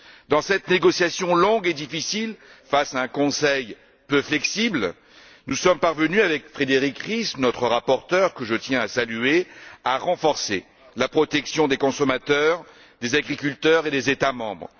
Dans cette négociation longue et difficile face à un Conseil peu flexible, nous sommes parvenus, avec Frédérique Ries notre rapporteure que je tiens à saluer à renforcer la protection des consommateurs, des agriculteurs et des États membres.